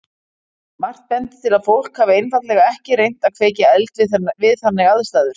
Margt bendir til að fólk hafi einfaldlega ekki reynt að kveikja eld við þannig aðstæður.